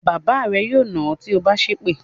Bàbá rẹ yóò nà ọ́ tí o bá sépè.